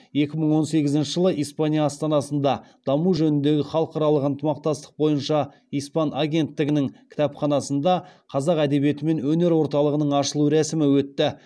екі мың он сегізінші жылы испания астанасында даму жөніндегі халықаралық ынтымақтастық бойынша испан агенттігінің кітапханасында қазақ әдебиеті мен өнер орталығының ашылу рәсімі өтті